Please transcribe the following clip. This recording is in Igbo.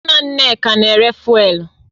Nna Nneka na-ere fụ́élú